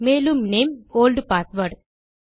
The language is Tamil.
மேலும் நேம் ஒல்ட்பாஸ்வேர்ட்